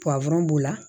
b'u la